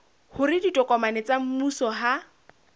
hore ditokomane tsa mmuso ha